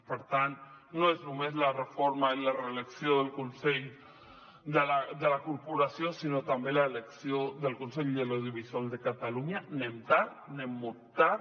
per tant no és només la reforma i la reelecció del consell de la corporació sinó també l’elecció del consell de l’audiovisual de catalunya anem tard anem molt tard